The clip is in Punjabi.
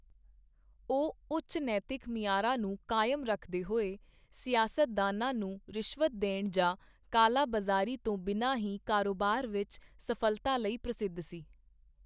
ਉਹ ਉੱਚ ਨੈਤਿਕ ਮਿਆਰਾਂ ਨੂੰ ਕਾਇਮ ਰੱਖਦੇ ਹੋਏ, ਸਿਆਸਤਦਾਨਾਂ ਨੂੰ ਰਿਸ਼ਵਤ ਦੇਣ ਜਾਂ ਕਾਲਾ ਬਜ਼ਾਰੀ ਤੋਂ ਬਿਨਾਂ ਹੀ ਕਾਰੋਬਾਰ ਵਿੱਚ ਸਫਲਤਾ ਲਈ ਪ੍ਰਸਿੱਧ ਸੀ।